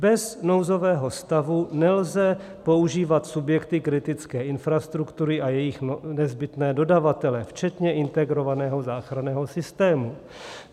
Bez nouzového stavu nelze používat subjekty kritické infrastruktury a její nezbytné dodavatele, včetně integrovaného záchranného systému.